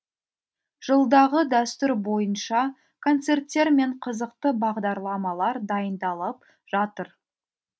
жылдағы дәстүр бойынша концерттер мен қызықты бағдарламалар дайындалып жатыр